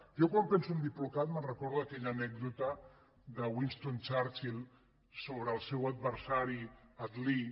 jo quan penso en diplocat me’n recordo d’aquella anècdota de winston churchill sobre el seu adversari attlee